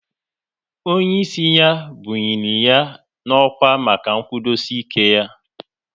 Onye ịsị ya bunyiri ya n'ọkwá maka nkwudosi ike ya